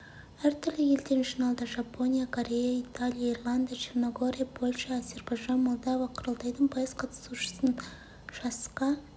әртүрлі елден жиналды жапония корея италия ирландия черногория польша әзербайжан молдова құрылтайдың пайыз қатысушысын жасқа